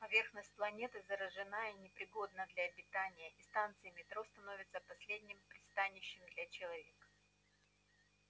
поверхность планеты заражена и непригодна для обитания и станции метро становятся последним пристанищем для человека